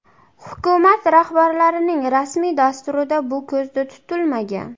Hukumat rahbarining rasmiy dasturida bu ko‘zda tutilmagan.